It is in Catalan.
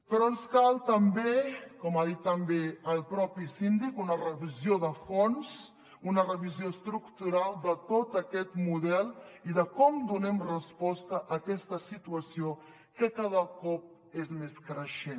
però ens cal també com ha dit també el propi síndic una revisió de fons una revisió estructural de tot aquest model i de com donem resposta a aquesta situació que cada cop és més creixent